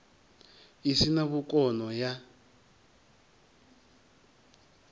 i si na vhukono ya